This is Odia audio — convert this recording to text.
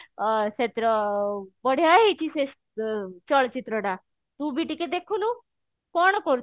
ଅ ସେଥିର ବଢିଆ ହେଇଛି ସେ ଚଳଚିତ୍ର ଟା ତୁ ବି ଟିକେ ଦେଖୁନୁ କଣ କରୁଛୁ